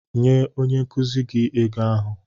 Nye onye nkuzi gị ego ahụ.